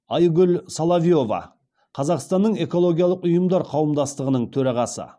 айгүл соловьева қазақстанның экологиялық ұйымдар қауымдастығының төрағасы